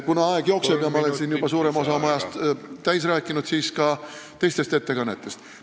Kuna aeg jookseb ja ma olen siin suurema osa oma ajast täis rääkinud, siis mõni sõna ka teistest ettekannetest.